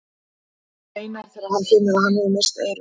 Maðurinn veinar þegar hann finnur að hann hefur misst eyrun.